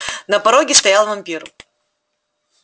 на пороге стоял вампир